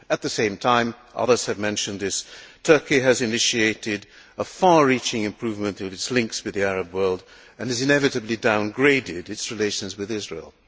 At the same time others have mentioned this Turkey has initiated a far reaching improvement of its links with the Arab world and it has inevitably downgraded its relations with Israel.